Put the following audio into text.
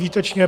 Výtečně!